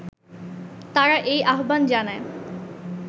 তারা এই আহ্বান জানায়